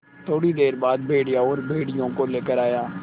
थोड़ी देर बाद भेड़िया और भेड़ियों को लेकर आया